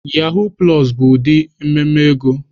Yahoo plus bụ ụdị mmemme ego.